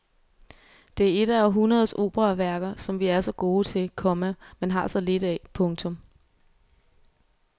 Det er et af århundredes operaværker som vi er så gode til, komma men har så lidt af. punktum